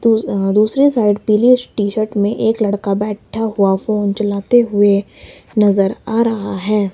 दूस हा दूसरे साइड पीले से टी_शर्ट में एक लड़का बैठा हुआ फोन चलाते हुए नजर आ रहा है।